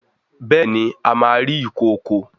Béèni a má rí ikọkọ.